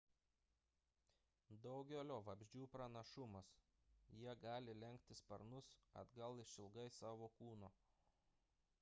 daugelio vabzdžių pranašumas – jie gali lenkti sparnus atgal išilgai savo kūno